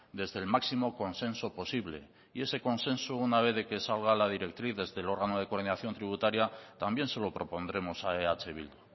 desde el máximo consenso posible y eso consenso una vez de que salga la directriz desde el órgano de coordinación tributaria también se lo propondremos a eh bildu